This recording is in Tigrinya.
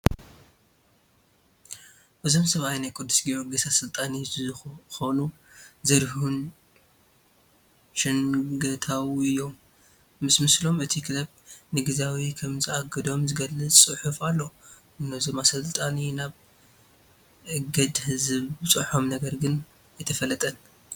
እዞም ሰብኣይ ናይ ቅዱስ ጊዮርጊስ ኣሰልጣኒ ዝኾኑ ዘሪሁን ሸንገታው እዮም፡፡ ምስ ምስሎም እቲ ክለብ ንግዚያዊ ከምዝኣገዶም ዝገልፅ ፅሑፍ ኣሎ፡፡ ነዞም ኣሰልኒ ናብ እግድ ዘብፅሖም ነገር ግን ኣይተፈልጠን፡፡